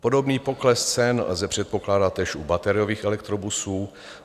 Podobný pokles cen lze předpokládat též u bateriových elektrobusů.